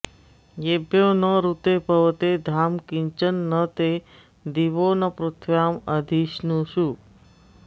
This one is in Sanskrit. येभ्यो न ऋते पवते धाम किञ्चन न ते दिवो न पृथिव्या अधिस्नुषु